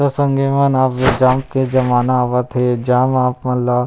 त संगी मन अब ये जाम के जमाना आवत हे जाम म आप मन ला--